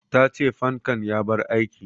Ta ce fankan ya bar aiki